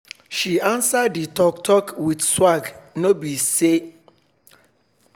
she answer d talk talk with swag nor be to dey fight back